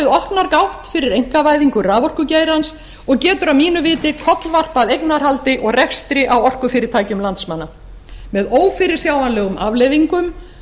opnar gátt fyrir einkavæðingu raforkugeirans og getur að mínu viti kollvarpað eignarhaldi og rekstri á orkufyrirtækjum landsmanna með ófyrirsjáanlegum afleiðingum